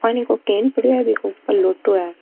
पानी को केन पड़ियो है बीके ऊपर लोटो है।